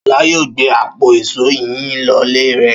Ṣọlá yóò gbé àpò ìṣó yìí lọlé rẹ̀.